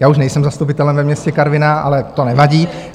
Já už nejsem zastupitelem ve městě Karviná, ale to nevadí.